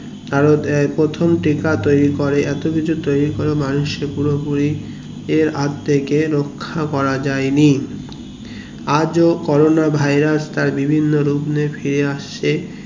তারা আহ প্রথম টিকা তৈরী করে এত কিছু তৈরী করেই মানুষ কে পুরোপুরি এর হাত থেকে রাখা করা যায়নি আজ ও corona virus তার বিভিন্ন রূপ নিয়ে ফায়ার আসছে